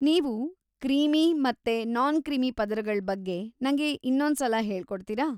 ನೀವು ಕ್ರೀಮಿ ಮತ್ತೆ ನಾನ್‌-ಕ್ರೀಮಿ ಪದರಗಳ್ ಬಗ್ಗೆ ನಂಗೆ ಇನ್ನೊಂದ್ಸಲ ಹೇಳ್ಕೊಡ್ತೀರಾ?